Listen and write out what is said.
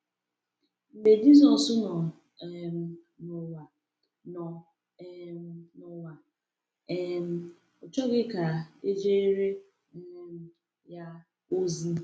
Mgbe Jisọs nọ um n’ụwa, nọ um n’ụwa, um ọ chọghị ka e jeere um ya ozi.